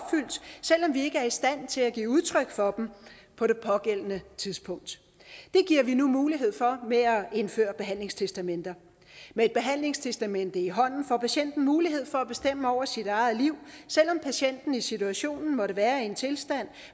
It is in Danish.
vi ikke er i stand til at give udtryk for dem på det pågældende tidspunkt det giver vi nu mulighed for ved at indføre behandlingstestamenter med et behandlingstestamente i hånden får patienten mulighed for at bestemme over sit eget liv selv om patienten i situationen måtte være i en tilstand